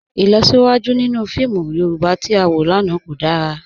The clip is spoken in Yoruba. Ilọsiwaju ninu fíìmù Yorùbá tí a wọ lánà kò dára.